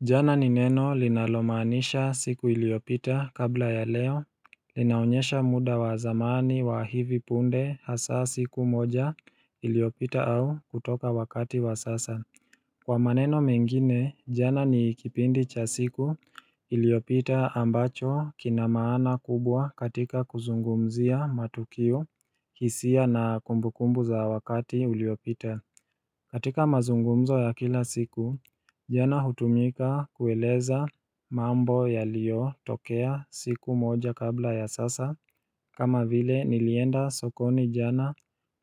Jana ni neno linalomaanisha siku iliopita kabla ya leo Linaonyesha muda wa zamani wa hivi punde hasa siku moja iliopita au kutoka wakati wa sasa Kwa maneno mengine jana ni kipindi cha siku iliopita ambacho kina maana kubwa katika kuzungumzia matukio, hisia na kumbukumbu za wakati uliopita katika mazungumzo ya kila siku, jana hutumika kueleza mambo yaliyo tokea siku moja kabla ya sasa kama vile nilienda sokoni jana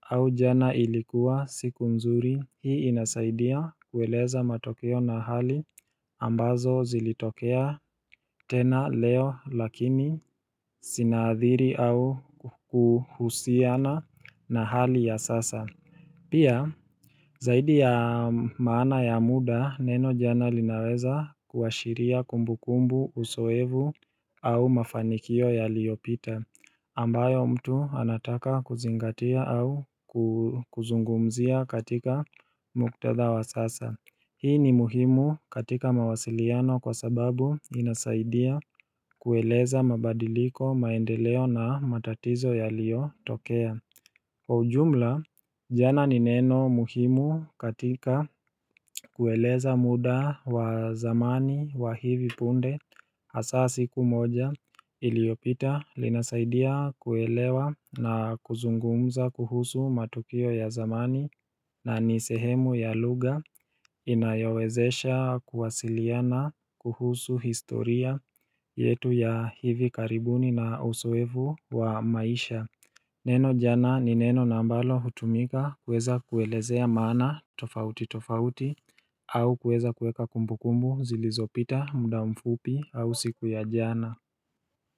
au jana ilikuwa siku nzuri Hii inasaidia kueleza matokeo na hali ambazo zilitokea tena leo lakini sinaathiri au kuhusiana na hali ya sasa Pia, zaidi ya maana ya muda, neno jana linaweza kuashiria kumbukumbu, usoevu au mafanikio yaliyopita, ambayo mtu anataka kuzingatia au kuzungumzia katika muktadha wa sasa. Hii ni muhimu katika mawasiliano kwa sababu inasaidia kueleza mabadiliko, maendeleo na matatizo yaliyotokea. Kwa ujumla, jana ni neno muhimu katika kueleza muda wa zamani wa hivi punde hasa siku moja iliopita linasaidia kuelewa na kuzungumza kuhusu matukio ya zamani na ni sehemu ya lugha inayowezesha kuwasiliana kuhusu historia yetu ya hivi karibuni na usoevu wa maisha Neno jana ni neno na ambalo hutumika kuweza kuelezea maana tofauti tofauti au kueza kueka kumbukumbu zilizopita muda mfupi au siku ya jana.